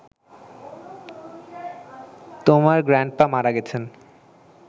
তোমার গ্র্যান্ডপা মারা গেছেন